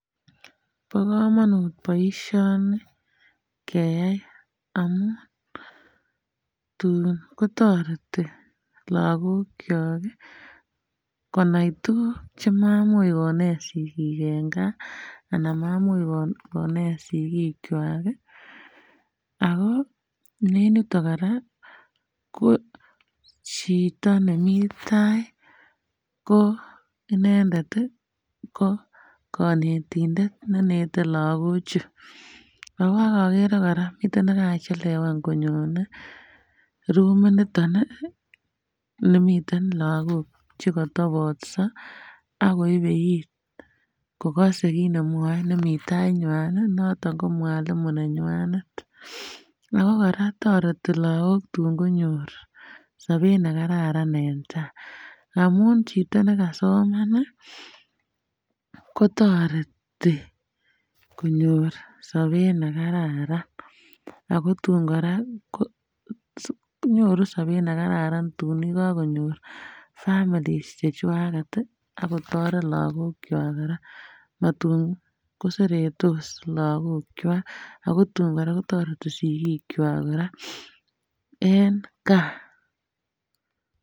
Bo komonut boisioni keyai amun tun kotoreti lagok kyok ih konai tuguk chemamuch konet sigik en gaa anam mamuch konet sigik kwaak ih ako en yuton kora ko chito nemii tai ko inendet ih ko konetindet ne nete lagok chu. Ako okere kora miten nekachelewan konyone rumit niton ih nimiten lagok chekotobotso akoyebe it kokose kit nemwoe nemii tai nywan ih noton ko mwalimu nenywanet ako kora toreti lagok tun konyor sobet nekararan en taa amun chito nekasoman ih kotoreti konyor sobet nekararan ako tun kora ko nyoru sobet nekararan tun yekakonyor families chechwaket ih akotoret lagok kwak kora matun koseretos lagok kwak ago tun kora kotoreti sigik kwaak kora en gaa